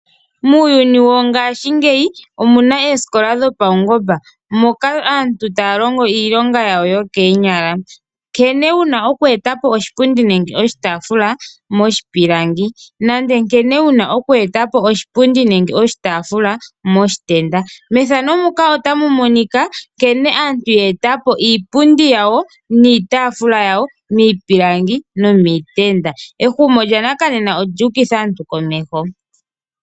Muuyuni wongashingeyi omuna oosikola dhopaungomba moka aantu taya longo iilonga yokoonyala, nkene yena oku eta po oshipundi nenge oshitaafula moshipilangi nenge nkene yena oku eta po oshipundi nenge oshitaafula moshitenda. Ehumo lyanakanena olyuukitha aantu komeho.